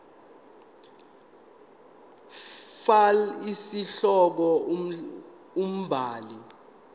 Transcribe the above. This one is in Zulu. fal isihloko umbhali